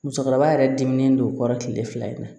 Musokɔrɔba yɛrɛ diminen don o kɔrɔ tile fila in na